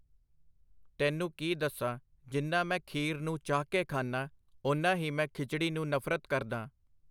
ਤੈਨੂੰ ਕੀ ਦੱਸਾਂ ਜਿੰਨਾ ਮੈਂ ਖੀਰ ਨੂੰ ਚਾਹਕੇ ਖਾਨਾਂ, ਓਨਾ ਹੀ ਮੈਂ ਖਿਚੜੀ ਨੂੰ ਨਫ਼ਰਤ ਕਰਦਾਂ.